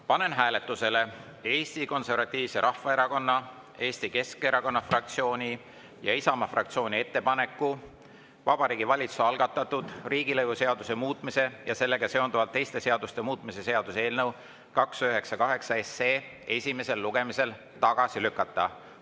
Panen hääletusele Eesti Konservatiivse Rahvaerakonna, Eesti Keskerakonna fraktsiooni ja Isamaa fraktsiooni ettepaneku Vabariigi Valitsuse algatatud riigilõivuseaduse muutmise ja sellega seonduvalt teiste seaduste muutmise seaduse eelnõu 298 esimesel lugemisel tagasi lükata.